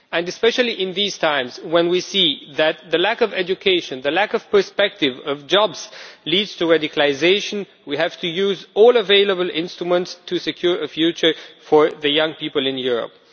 Especially in these times, when we see that the lack of education and little prospect for jobs leads to radicalisation, we have to use all available instruments to secure a future for young people in Europe.